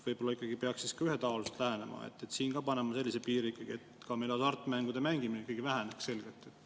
Võib-olla peaks ühetaoliselt lähenema ja siin ka panema sellise piiri, et meil hasartmängude mängimine ikkagi selgelt väheneks?